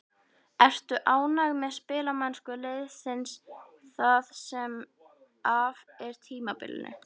Ertu ánægð með spilamennsku liðsins það sem af er tímabilinu?